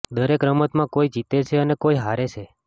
દરેક રમતમાં કોઈ જીતે છે અને કોઈ હારે છે